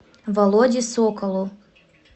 володе соколу